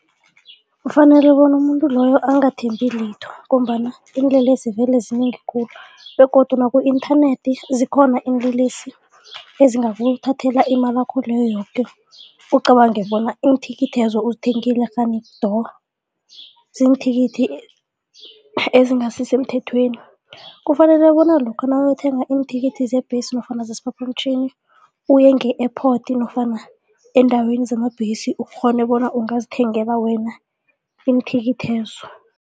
Kufanele bona umuntu loyo angathembi litho ngombana iinlelesi vele zinengi khulu begodu naku-internet zikhona iinlelesi ezingakuthathela imalakho leyo yoke ucabanga bona iinthikithezo uzithengile kghani do, ziinthikithi ezingasisemthethweni. Kufanele bona lokha nakayokuthenga iinthikithi zebhesi nofana zesiphaphamtjhini uye nge-airport nofana eendaweni zamabhesi ukghone bona ungazithengela wena iinthikithezo.